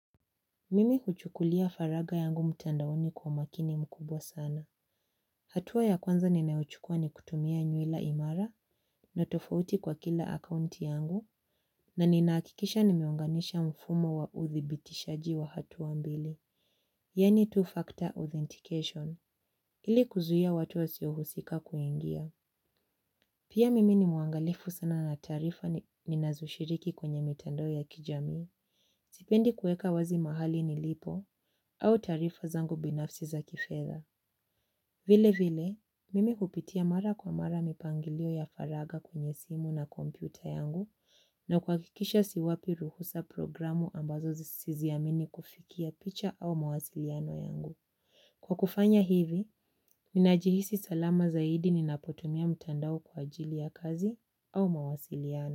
Mimi huchukulia faragha yangu mtandaoni kwa umakini mkubwa sana. Hatua ya kwanza ninayochukua ni kutumia nyila imara na tofauti kwa kila akaunti yangu na nina hakikisha nimeunganisha mfumo wa udhibitishaji wa hatua mbili, yaani two-factor authentication, ili kuzuia watu wasiohusika kuingia. Pia mimi ni muangalifu sana na taarifa ninazoshiriki kwenye mitandao ya kijamii. Sipendi kueka wazi mahali nilipo au taarifa zangu binafsi za kifedha. Vile vile, mimi hupitia mara kwa mara mipangilio ya faragha kwenye simu na kompyuta yangu na kuhakikisha siwapi ruhusa programu ambazo siziamini kufikia picha au mawasiliano yangu. Kwa kufanya hivi, nina jihisi salama zaidi ninapotumia mtandao kwa ajili ya kazi au mawasiliano.